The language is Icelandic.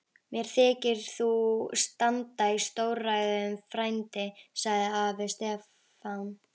Mér þykir þú standa í stórræðum frændi, sagði afi Stefán.